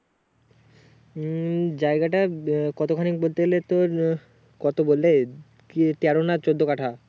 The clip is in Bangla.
উম জায়গাটা কত খানি বলতে গেলে তোর কত বলে কি তেরো না চোদ্দ কাঠা